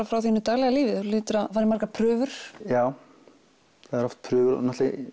frá þínu daglega lífi þú hlýtur að fara í margar prufur já það eru oft prufur og